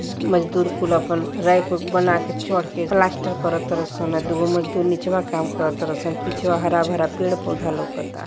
मजदूर कुल आपन रैक बनाकर चड़के प्लास्टर करत ताने दुई को मजदूर्वा नीचे काम करत ताने सं पिछवा हरा भरा पेड़ पौधा लौकत बा --